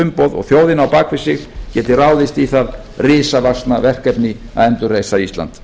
umboð og þjóðina á bak við sig geti ráðist í það risavaxna verkefni að endurreisa ísland